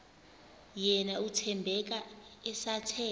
yena uthembeka esathe